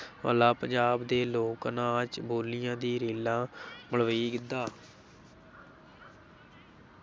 ਪੰਜਾਬ ਦੇ ਲੋਕ ਨਾਚ, ਬੋਲੀਆਂ ਦੀ ਰੇਲਾਂ ਮਲਵਈ ਗਿੱਧਾ।